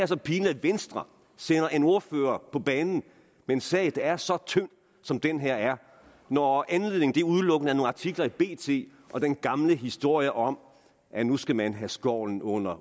så pinligt at venstre sender en ordfører på banen med en sag der er så tynd som den her er når anledningen udelukkende er nogle artikler i bt og den gamle historie om at nu skal man have skovlen under